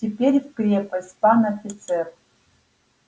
теперь в крепость пан офицер